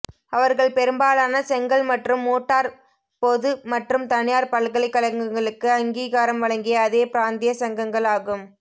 அவர்கள் பெரும்பாலான செங்கல் மற்றும் மோட்டார் பொது மற்றும் தனியார் பல்கலைக்கழகங்களுக்கு அங்கீகாரம் வழங்கிய அதே பிராந்திய சங்கங்கள் ஆகும்